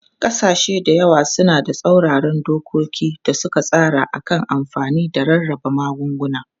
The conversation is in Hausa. Kasashe da yawa suna da tsauraran dokoki da suka tsara a kan amfani da rarraba magunguna.